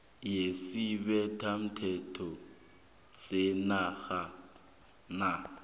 yesibethamthetho senarha na